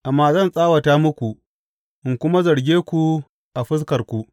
Amma zan tsawata muku in kuma zarge ku a fuskarku.